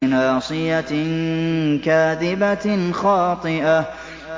نَاصِيَةٍ كَاذِبَةٍ خَاطِئَةٍ